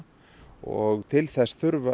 og til þess þurfa